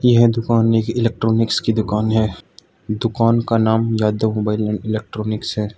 यह दुकान एक इलेक्ट्रॉनिक्स की दुकान है दुकान का नाम यादव मोबाइल एंड इलेक्ट्रॉनिक्स है।